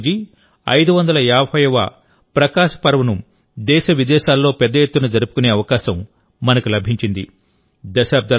గురునానక్ దేవ్ జీ 550వ ప్రకాశ్ పర్వ్ను దేశ విదేశాల్లో పెద్ద ఎత్తున జరుపుకునే అవకాశం మనకు లభించింది